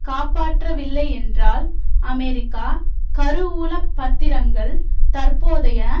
காப்பாற்றவில்லையென்றால் அமெரிக்க கருவூல பத்திரங்கள் தற்போதைய